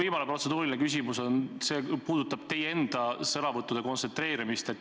Viimane protseduuriline küsimus puudutab teie enda sõnavõttude kontsentreerimist.